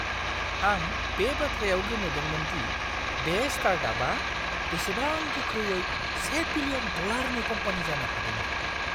आं बे बाथ्रायाव गोमोदोंमोन दि बे स्टार्टआपआ बेसेबां गोख्रैयै से बिलियन-डलारनि कम्पानि जानो हादोंमोन!